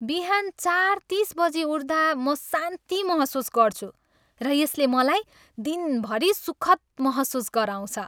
बिहान चार तिस बजी उठ्दा म शान्ति महसुस गर्छु र यसले मलाई दिनभरि सुखद महसुस गराउँछ।